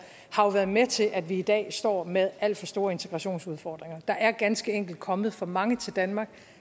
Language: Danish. har været med til at vi i dag står med alt for store integrationsudfordringer der er ganske enkelt kommet for mange til danmark